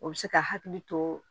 O bɛ se ka hakili to